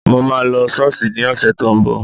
Mo máa lọ Ṣọ́ọ̀ṣì ní ọ̀sẹ̀ tó ń bọ̀